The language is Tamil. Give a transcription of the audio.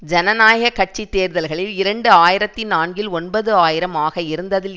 ஜனநாயக கட்சி தேர்தல்களில் இரண்டு ஆயிரத்தி நான்கில் ஒன்பது ஆயிரம் ஆக இருந்ததில்